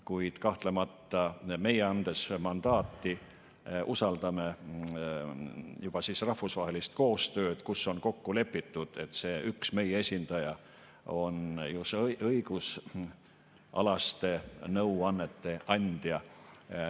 Kuid kahtlemata meie, andes mandaati, usaldame rahvusvahelist koostööd, kus on kokku lepitud, et see üks meie esindaja on õigusalaste nõuannete andja.